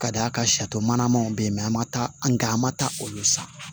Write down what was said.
Ka d'a kan sarimana manw bɛ yen mɛ an ma taa an ka an ma taa olu san